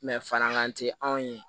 farankan tɛ anw ye